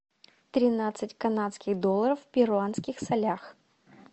тринадцать канадских долларов в перуанских солях